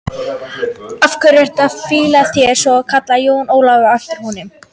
Af hverju ertu að flýta þér svona, kallaði Jón Ólafur á eftir honum.